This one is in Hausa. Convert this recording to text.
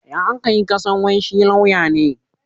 Ya aka yi ka san wai shi lauya ne?